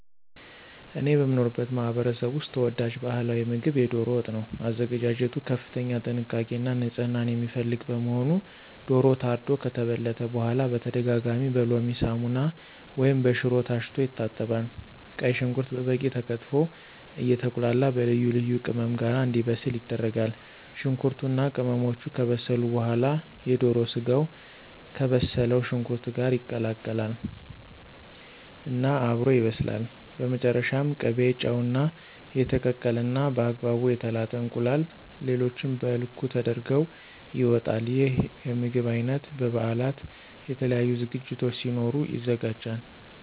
እኔ በምኖርበት ማህበረሰብ ውስጥ ተወዳጅ ባህላዊ ምግብ የዶሮ ወጥ ነው። አዘገጃጀቱ ከፍተኛ ጥንቃቄ እና ንፅህና የሚፈልግ በመሆኑ ዶሮው ታርዶ ከተበለተ በኋላ በተደጋጋሚ በሎሚ፣ ሳሙና ወይም በሽሮ ታሽቶ ይታጠባል። ቀይ ሽንኩርት በበቂ ተከትፎ አየተቁላላ በልዩ ልዩ ቅመም ጋር እንዲበስል ይደረጋል። ሽንኩርቱ እና ቅመሞቹ ከበሰሉ በኋላ የዶሮ ስጋው ከበሰለው ሽንኩርት ጋር ይቀላቀል እና አብሮ ይበስላል። በመጨረሻም ቅቤ፣ ጨው፣ እና የተቀቀለ እና በአግባቡ የተላጠ እንቁላል ሌሎቹም በልኩ ተደርገው ይወጣል። ይህ የምግብ አይነት በ በበአላት፣ የተለያዩ ዝግጅቶች ሲኖሩ ይዘጋጃል።